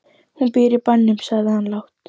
Hún býr í bænum, sagði hann lágt.